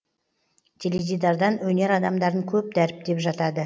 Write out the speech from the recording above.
теледидардан өнер адамдарын көп дәріптеп жатады